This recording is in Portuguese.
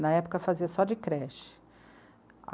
Na época fazia só de creche.